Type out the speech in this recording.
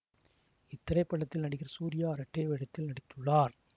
இத்திரைப்படத்தில் நடிகர் சூர்யா இரட்டை வேடத்தில் நடித்துள்ளார்